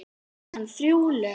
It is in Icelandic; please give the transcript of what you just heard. Söng hann þrjú lög.